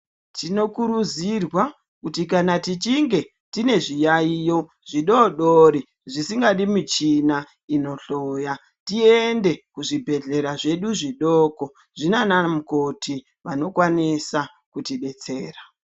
Tinokurudzirwa kuti kana tichinge tine zviyaiyo zvidodori zvisingadi michina inohloya, tiende muzvibhedhlera zvedu zvidoko zvinanamukoti vanokwanisa kutidetsera.